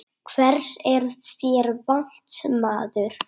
Hvers er þér vant, maður?